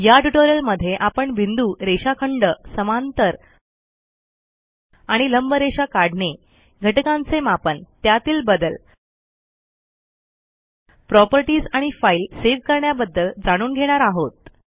या ट्युटोरियलमध्ये आपण बिंदू रेषाखंड समांतर आणि लंब रेषा काढणे घटकांचे मापन त्यातील बदल प्रॉपर्टीज आणि फाईल सेव्ह करण्याबद्दल जाणून घेणार आहोत